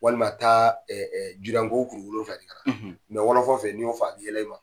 Walima taa kuru wolonwula fɛ di ka na wɔlɔfɔw fɛ n'i y'o fɔ a b'i yɛlɛ i ma.